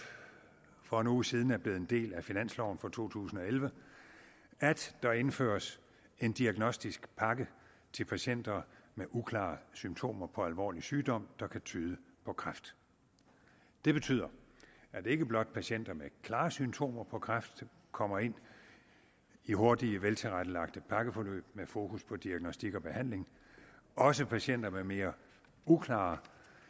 for en uge siden er blevet en del af finansloven for to tusind og elleve at der indføres en diagnostisk pakke til patienter med uklare symptomer på alvorlig sygdom der kan tyde på kræft det betyder at ikke blot patienterne klare symptomer på kræft kommer ind i hurtige veltilrettelagte pakkeforløb med fokus på diagnostik og behandling også patienter med mere uklare